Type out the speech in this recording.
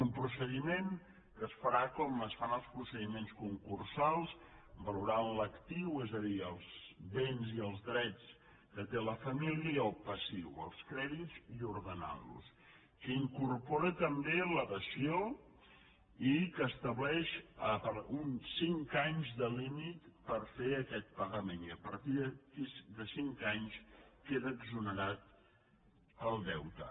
un procediment que es farà com es fan els procediments concursals valorant l’actiu és a dir els béns i els drets que té la família i el passiu els crèdits i ordenant los que incorpora també la dació i que estableix cinc anys de límit per fer aquest pagament i a partir de cinc anys queda exonerat el deute